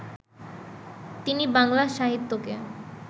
তিনি বাংলা সাহিত্যকে